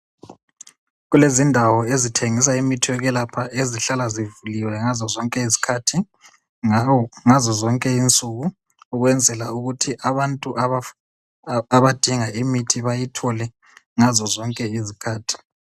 Kulezindawo ezithengisa imithi yokwelapha ezihlala zivuliwe ngazozonke izikhathi ngazozonke insuku ukwenzela ukuthi abantu abadinga imithi bayithole ngazozonke izikhathi.